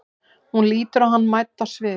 Hún lítur á hann mædd á svip.